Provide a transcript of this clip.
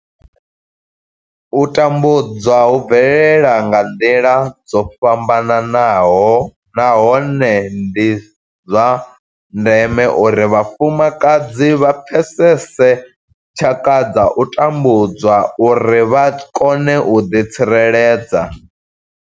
U tambudzwa hu bvelela nga nḓila dzo fhambanaho nahone ndi zwa ndeme uri vhafumakadzi vha pfesese tshaka dza u tambudzwa uri vha kone u ḓitsireledza.